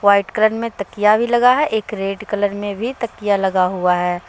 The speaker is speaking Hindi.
व्हाइट कलर में तकिया भी लगा है एक रेड कलर में भी तकिया लगा हुआ है।